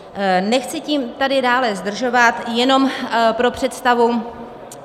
Nechci tím tady dále zdržovat, jenom pro představu.